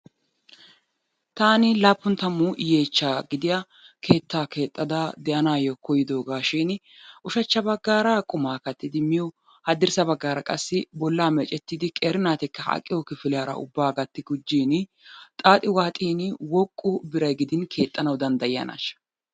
Taani laappun tammu gidiya yeechchaa keettaa keexxada de'anaayyo koyidoogaashiini ushachcha baggaara qumaa kattidi miyo haddirssa baggaara qassi bollaa meecettidi qeeri naatikka aqiyo kifiliyara ubbaa gatti gujjiini xaaxi waaxin woqqu biray gidin keexxanawu danddayiyanaashsha?